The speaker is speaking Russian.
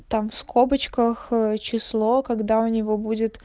там в скобочках число когда у него будет